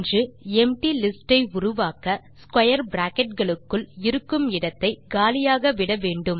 நாம் empty list ஐ உருவாக்க ஸ்க்வேர் பிராக்கெட் களுக்குள் இருக்கும் இடத்தை காலியாக விட வேண்டும்